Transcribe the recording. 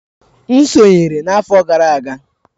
M sonyeere n'afọ gara aga.